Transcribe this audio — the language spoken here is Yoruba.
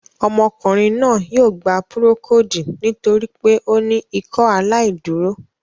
Ọmọkùnrin náà yóò gbà púrókòdù nítorí pé o ni Ìkọaláìdúrò